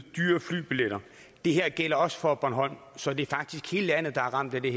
i dyrere flybilletter det her gælder også for bornholm så det er faktisk hele landet der er ramt af det